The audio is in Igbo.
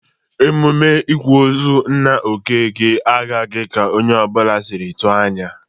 Emume ịkwa ozu nna Okeke agaghị ka onye ọbụla sịrị tụ anya.